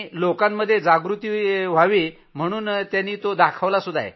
लोकांमध्ये जागृती रहावी म्हणून त्यानी तो दाखवलाही आहे